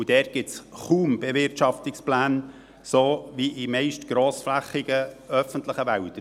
Dort gibt es kaum Bewirtschaftungspläne, so wie in meist grossflächigen öffentlichen Wäldern.